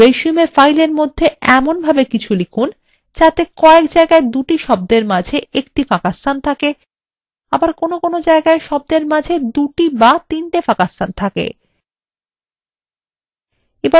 আমাদের resume ফাইলের মধ্যে এমনভাবে কিছু লিখুন যাতে কয়েক জায়গায় দুটি শব্দের মাঝে একটি ফাঁকাস্থান থাকে আবার কোনো জায়গায় শব্দের মাঝে দুটি বা তিনটি ফাঁকাস্থান থাকে